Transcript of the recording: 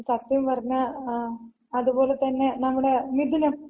സത്യം പറഞ്ഞ, അത് പോലെ തന്നെ നമ്മുടെ മിഥുനം.